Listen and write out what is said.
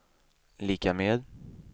lika med